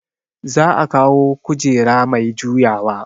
Za a kawo kujera mai juyawa